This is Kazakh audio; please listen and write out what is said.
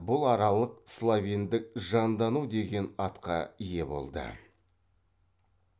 бұл аралық словендік жандану деген атқа ие болды